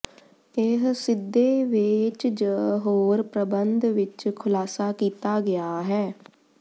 ਇਹ ਸਿੱਧੇ ਵੇਚ ਜ ਹੋਰ ਪ੍ਰਬੰਧ ਵਿਚ ਖੁਲਾਸਾ ਕੀਤਾ ਗਿਆ ਹੈ